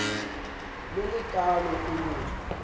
le le kaalo o ne